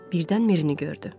Birdən Mirini gördü.